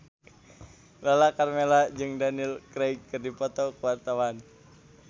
Lala Karmela jeung Daniel Craig keur dipoto ku wartawan